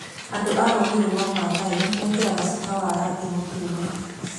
Andũ a rũũrĩrĩ rwa Maathai mekĩraga cuka cia rangi mũtune.